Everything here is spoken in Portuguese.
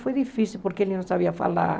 Foi difícil porque ele não sabia falar.